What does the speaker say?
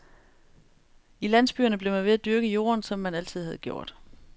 I landsbyerne blev man ved at dyrke jorden, som man altid havde gjort.